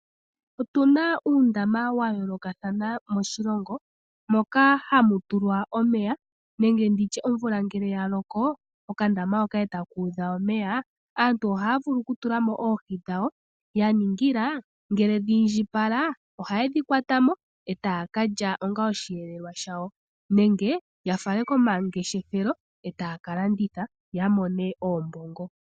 Otuna uundama wayoolokathana moshilongo ,moka hamu tulwa omeya nenge omvula ngele yaloko okandama etaka udha omeya, aantu ohaya vulu okutulamo oohi dhawo yaningila ngele dhiindjipala ohaye dhi kwatamo etaya ka lya onga oshiyelelwa shawo nenge yafale komangeshefelo etaya ka landitha yamone oombongo.